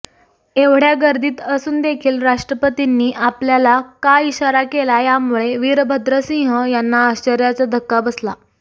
एवढ्या गर्दीत असूनदेखील राष्ट्रपतींनी आपल्याला का इशारा केला यामुळे विरभद्र सिंह यांना आश्चर्याचा धक्का बसला